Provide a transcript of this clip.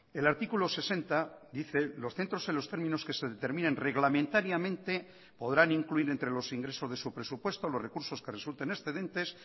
el artículo sesenta dice los centros en los términos que se determinen reglamentariamente podrán incluir entre los ingresos de su presupuesto los recursos que resulten excedentes